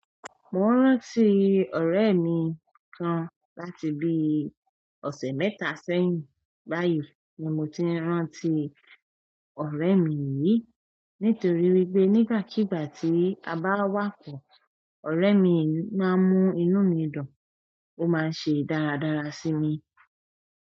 Mo ń rántí ọ̀rẹ́ mi kan láti bíi ọ̀sẹ̀ mẹ́ta sẹ́yìn. Báyìí ni mo ti ń rántí ọ̀rẹ́ mi yìí nítorí wípé nígbàkigbà tí a bá wá pọ̀, ọ̀rẹ́ mi náà ń mú inú mi dùn, ó máa ń ṣe dáradára sí mi.